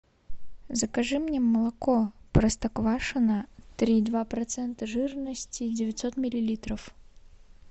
закажи мне молоко простоквашино три и два процента жирности девятьсот миллилитров